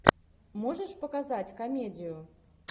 можешь показать комедию